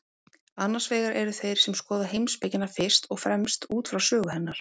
Annars vegar eru þeir sem skoða heimspekina fyrst og fremst út frá sögu hennar.